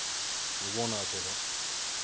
Ég vona að það sé rétt.